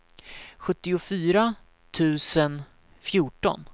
sjuttiofyra tusen fjorton